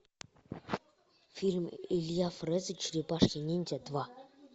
фильм илья фрэза черепашки ниндзя два